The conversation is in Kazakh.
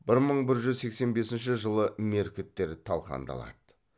бір мың бір жүз сексен бесінші жылы меркіттер талқандалады